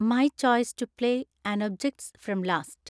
my choice to play an objects from last